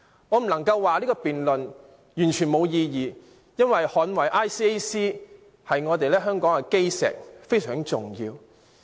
我不能說這項辯論完全沒有意義，因為捍衞 ICAC—— 我們香港的基石，是非常重要的。